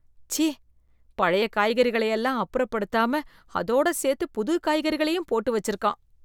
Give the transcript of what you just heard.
ச்சீ ! பழைய காய்கறிகளை எல்லாம் அப்புறப்படுத்தாம அதோடு சேர்த்து புது காய்கறிகளையும் போட்டு வச்சிருக்கான்.